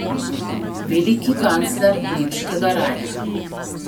Veliki kancler nemškega rajha.